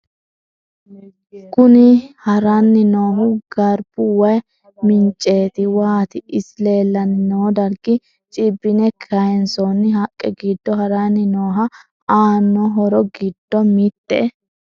Kunni harrani noohu garibu wayi minicete waati. Isi leelani noo darigi cibbine kayiisonni haqqe giddo harrani no aano horro giddo mitte.......